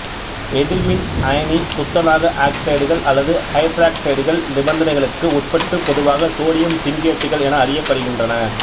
எதிர்மின் அயனி துத்தநாக ஆக்சைடுகள் அல்லது ஐதராக்சைடுகள் நிபந்தனைகளுக்கு உட்பட்டு பொதுவாக சோடியம் சிங்கேட்டுகள் என அறியப்படுகின்றன